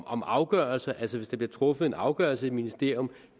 om afgørelser altså hvis der bliver truffet en afgørelse i et ministerium